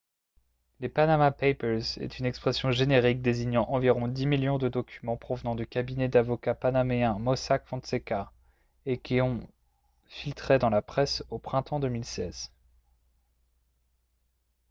les « panama papers » est une expression générique désignant environ dix millions de documents provenant du cabinet d'avocats panaméen mossack fonseca et qui ont filtré dans la presse au printemps 2016